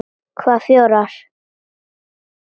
Hvaða fjórar?